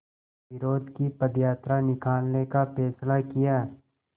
विरोध की पदयात्रा निकालने का फ़ैसला किया